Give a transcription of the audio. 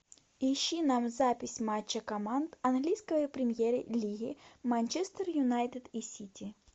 ищи нам запись матча команд английской премьер лиги манчестер юнайтед и сити